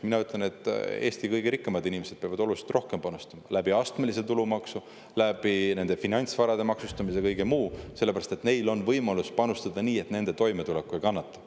Mina ütlen, et Eesti kõige rikkamad inimesed peavad oluliselt rohkem panustama astmelise tulumaksu abil, nende finantsvarade maksustamise ja kõige muu kaudu, sest neil on võimalus panustada nii, et nende toimetulek ei kannata.